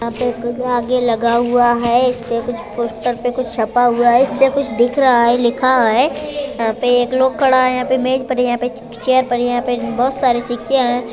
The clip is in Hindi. यहां पे आगे लगा हुआ है इस पे कुछ पोस्टर पे कुछ छपा हुआ है इस पे कुछ दिख रहा है लिखा है। यहां पे एक लोग खड़ा है यहां पे मेज पड़ी हैं यहां पे चेयर पड़ी हैं । यहां पे बोहत सारे सिक्के हैं ।